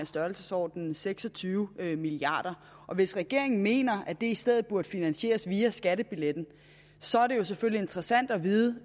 størrelsesordenen seks og tyve milliard kroner og hvis regeringen mener at det i stedet burde finansieres via skattebilletten så er det selvfølgelig interessant at vide